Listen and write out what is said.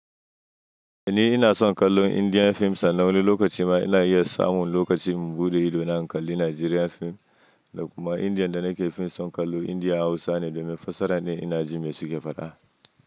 Ni ina son kallo Indian fim sannan wani lokaci ma ina iya samun lokaci in bude ido na in kalli Nigerian fim da kuma Indian da nake fin son kallo India Hausa ne domin fassarar ne ina jin mai suke faɗa.